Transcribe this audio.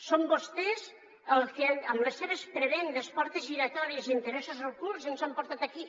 són vostès els que amb les seves prebendes portes giratòries i interessos ocults ens han portat aquí